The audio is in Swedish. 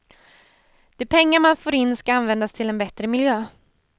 De pengar man får in ska användas till en bättre miljö.